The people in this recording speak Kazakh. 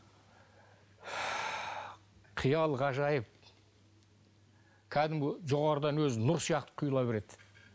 қиял ғажайып кәдімгі жоғарыдан өзі нұр сияқты құйыла береді